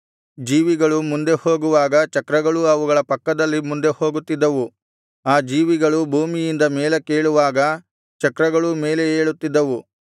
ಜೀವಿಗಳು ಮುಂದೆ ಹೋಗುವಾಗ ಚಕ್ರಗಳೂ ಅವುಗಳ ಪಕ್ಕದಲ್ಲಿ ಮುಂದೆ ಹೋಗುತ್ತಿದ್ದವು ಆ ಜೀವಿಗಳು ಭೂಮಿಯಿಂದ ಮೇಲಕ್ಕೇಳುವಾಗ ಚಕ್ರಗಳೂ ಮೇಲೆ ಏಳುತ್ತಿದ್ದವು